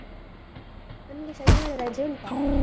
ನಿಮ್ಗೆ ಶನಿವಾರ ರಜೆ ಉಂಟಾ?